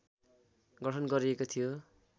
गठन गरिएको थियो